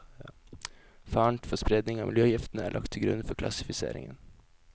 Faren for spredning av miljøgiftene er lagt til grunn for klassifiseringen.